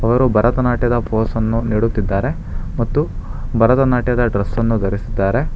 ಇಬ್ಬರು ಭಾರತನಾಟ್ಯದ ಪೋಸ್ ಅನ್ನು ನೀಡುತ್ತಿದ್ದಾರೆ ಮತ್ತು ಭಾರತನಾಟ್ಯದ ಡ್ರೆಸ್ ಅನ್ನು ಧರಿಸಿದ್ದಾರೆ.